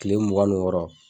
kile mugan ni wɔɔrɔ.